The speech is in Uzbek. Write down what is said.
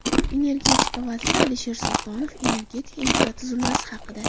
Energetika vaziri Alisher Sultonov energetika infratuzilmasi haqida.